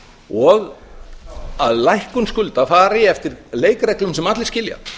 og að lækkun skulda fari eftir leikreglum sem allir skilja